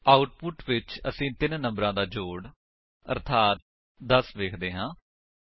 output ਵਿੱਚ ਅਸੀ ਤਿੰਨ ਨੰਬਰਾ ਦਾ ਜੋੜ ਅਰਥਾਤ 10 ਵੇਖਦੇ ਹਾਂ